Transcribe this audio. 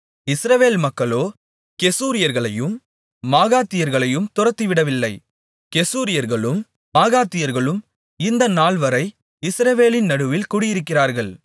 இஸ்ரவேல் மக்களோ கெசூரியர்களையும் மாகாத்தியர்களையும் துரத்திவிடவில்லை கெசூரியர்களும் மாகாத்தியர்களும் இந்தநாள்வரை இஸ்ரவேலின் நடுவில் குடியிருக்கிறார்கள்